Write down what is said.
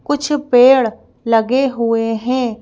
कुछ पेड़ लगे हुए हैं।